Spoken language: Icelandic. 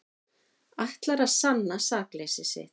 Ætlar að sanna sakleysi sitt